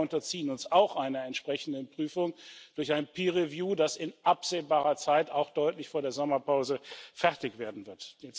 Wir selber unterziehen uns auch einer entsprechenden Prüfung durch ein Peer Review, das in absehbarer Zeit auch deutlich vor der Sommerpause fertig werden wird.